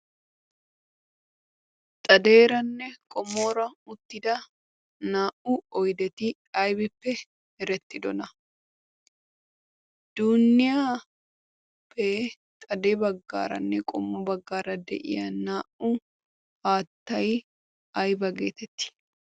Xadeeranne qommora beettiya naa''u oydeti aybbippe meretidoona. duuniyappe xade baggaranne qommo baggara de'iyaa naa''u haattay aybba getetti?